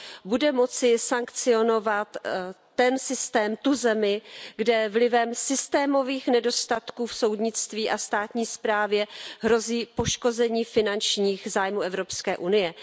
bude moci sankcionovat ten systém, tu zemi, kde vlivem systémových nedostatků v soudnictví a ve státní správě hrozí poškození finančních zájmů Evropské unie.